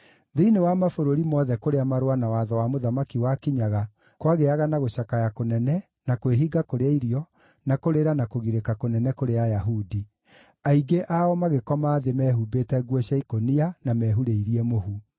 Thĩinĩ wa mabũrũri mothe kũrĩa marũa na watho wa mũthamaki wakinyaga kwagĩaga na gũcakaya kũnene, na kwĩhinga kũrĩa irio, na kũrĩra na kũgirĩka kũnene kũrĩ Ayahudi. Aingĩ ao magĩkoma thĩ mehumbĩte nguo cia ikũnia na mehurĩirie mũhu.